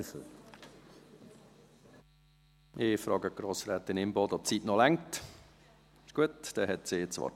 Ich frage Grossrätin Imboden, ob die Zeit für ihr Votum noch reicht.